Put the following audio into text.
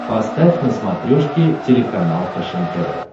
поставь на смотрешке телеканал фэшен тв